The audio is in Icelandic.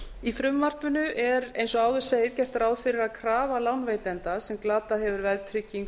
í frumvarpinu er eins og áður segir gert ráð fyrir að krafa lánveitanda sem glatað hefur veðtryggingu